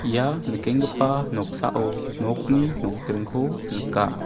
ia nikenggipa noksao nokni nokdringko nika.